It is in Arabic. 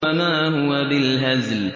وَمَا هُوَ بِالْهَزْلِ